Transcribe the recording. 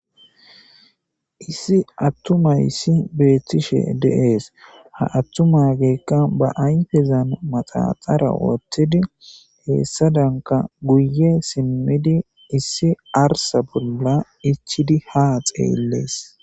Issi attuma issi beettishe deees ha attuma geekka ba ayfezan maxaxara wooththidi heessa danka guye simmidi issi arsa bolla ichidi ha xeeyllees.